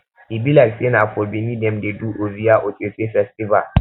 e be like sey na for bini dem dey do ovia osese festival